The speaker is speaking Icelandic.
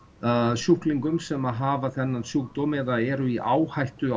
sjúklingum sem að hafa þennan sjúkdóm eða eru í áhættu